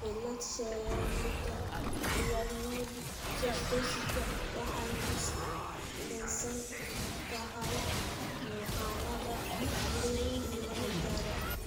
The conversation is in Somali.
Cilad-sheegidda pycnodysostosiska waxay ku salaysan tahay muuqaalada jireed iyo raajada.